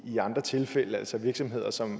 andre tilfælde altså at virksomheder som